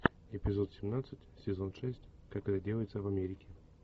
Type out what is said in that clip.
эпизод семнадцать сезон шесть как это делается в америке